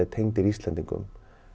tengdir Íslendingum